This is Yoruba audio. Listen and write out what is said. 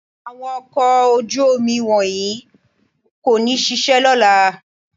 Àwọn ọkọ̀ ojú-omi wọ̀nyí kò ní ṣiṣẹ́ lọ́la